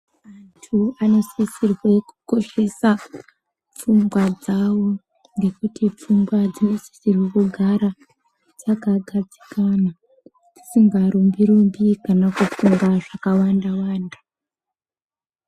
Antu anosisirwa kukoshese fungwa dzavo ngekuti fungwa dzinosisirwa kugara dzakagadzikana dzisingarumbi rumbi kana kufunga zvakawanda wanda.